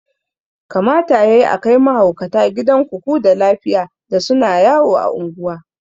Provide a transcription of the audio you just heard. Kamata yayi akai mahaukata gidan kuku da lafiya da suna yawo a unguwa